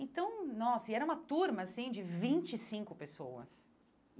Então, nossa, e era uma turma, assim, de vinte e cinco pessoas.